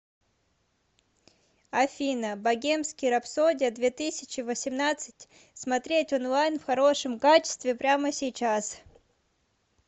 афина богемский рапсодия две тысячи восемнадцать смотреть онлайн в хорошем качестве прямо сейчас